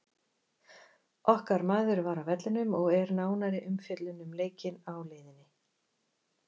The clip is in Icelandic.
Okkar maður var á vellinum og er nánari umfjöllun um leikinn á leiðinni.